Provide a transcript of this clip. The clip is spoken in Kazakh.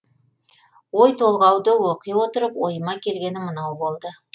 ой толғауды оқи отырып ойыма келгені мынау болды